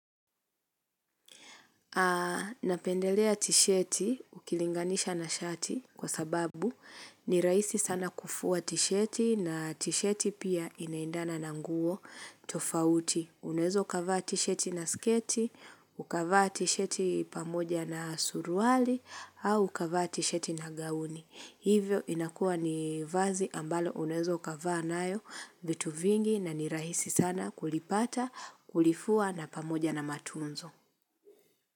Napendelea tisheti ukilinganisha na shati kwa sababu ni raisi sana kufua tisheti na tisheti pia inaendana na nguo tofauti. Unaezo kavaa tisheti na sketi, ukavaa tisheti pamoja na suruali, au ukavaa tisheti na gauni. Hivyo inakuwa ni vazi ambalo unqezo kavaa nayo vitu vingi na ni raisi sana kulipata, kulifuwla na pamoja na matunzo.